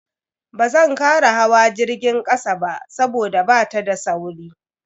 Bazan kara hawa jirgin kasa ba saboda bata da sauri.